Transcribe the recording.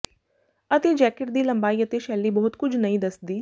ਅਤੇ ਜੈਕੇਟ ਦੀ ਲੰਬਾਈ ਅਤੇ ਸ਼ੈਲੀ ਬਹੁਤ ਕੁਝ ਨਹੀਂ ਦੱਸਦੀ